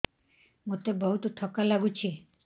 ମୋତେ ବହୁତ୍ ଥକା ଲାଗୁଛି